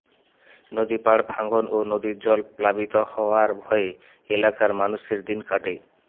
নদীর পাড় ভাঙন ও নদীর জল প্লাবিত হওয়ার ভয়ে এলাকার মানুষের দিন কাটে